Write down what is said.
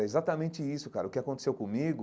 É exatamente isso, cara, o que aconteceu comigo